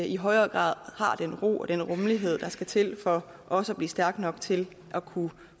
i højere grad har den ro og den rummelighed der skal til for også at blive stærke nok til at kunne